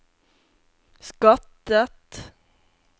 skattet